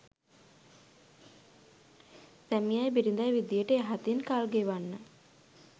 සැමියයි බිරිඳයි විදියට යහතින් කල් ගෙවන්න